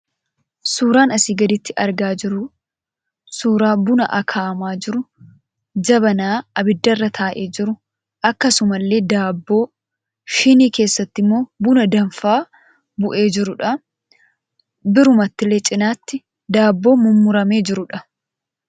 Suuraan asii gaditti argaa jirru suuraa buna akaa'amaa jiru, jabanaa abiddarra taa'ee jiru, akkasuma illee daabboo, shinii keessatti immoo buna danfaa bu'ee jirudha. Birumattillee cinaatti daabboo mummuramee jirudha.